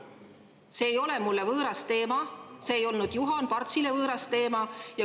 See ei ole mulle võõras teema, see ei olnud ka Juhan Partsile võõras teema.